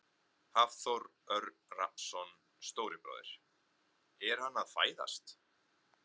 Hafþór Örn Rafnsson, stóri bróðir: Er hann að fæðast?